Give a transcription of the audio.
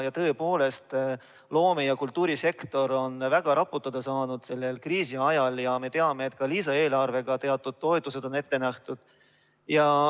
Tõepoolest, loome‑ ja kultuurisektor on väga raputada saanud selle kriisi ajal ja me teame, et ka lisaeelarvega on teatud toetused ette nähtud.